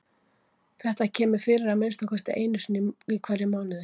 Þetta kemur fyrir að minnsta kosti einu sinni í hverjum mánuði.